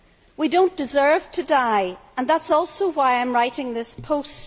We don't deserve to die and that is also why I am writing this post.